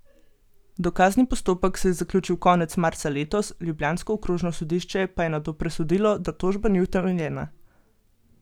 Dokazni postopek se je zaključil konec marca letos, ljubljansko okrožno sodišče pa je nato presodilo, da tožba ni utemeljena.